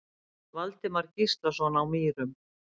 Valdimar Gíslason á Mýrum